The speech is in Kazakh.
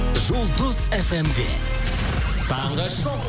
жұлдыз фм де таңғы шоу